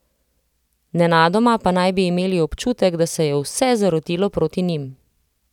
Nenadoma pa naj bi imeli občutek, da se je vse zarotilo proti njim.